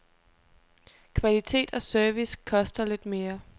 Kvalitet og service koster lidt mere.